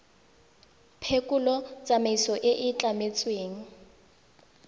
phekolo tsamaiso e e tlametsweng